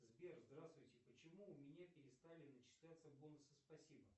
сбер здравствуйте почему у меня перестали начисляться бонусы спасибо